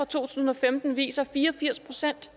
tusind og femten viser at fire og firs procent